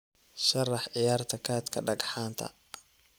sharax ciyaarta kaadhka dhagxaanta